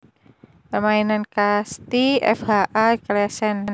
Permainan Kasti F H A Claesen